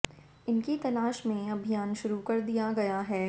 इनकी तलाश में अभियान शुरू कर दिया गया है